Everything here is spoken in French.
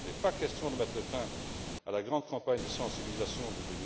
Il n'est pas question de mettre fin à la grande campagne de sensibilisation de